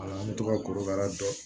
an bɛ to ka korokara dɔn